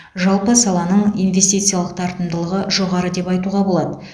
жалпы саланың инвестициялық тартымдылығы жоғары деп айтуға болады